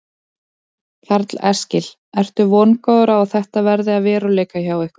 Karl Eskil: Ertu vongóður á að þetta verði að veruleika hjá ykkur?